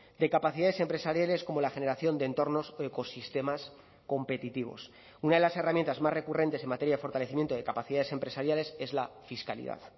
de capacidades empresariales como la generación de entornos o ecosistemas competitivos una de las herramientas más recurrentes en materia de fortalecimiento de capacidades empresariales es la fiscalidad